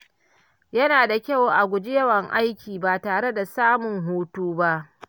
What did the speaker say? Yana da kyau a guji yawan aiki ba tare da samun hutu ba.